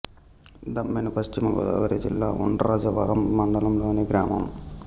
దమ్మెన్ను పశ్చిమ గోదావరి జిల్లా ఉండ్రాజవరం మండలం లోని గ్రామం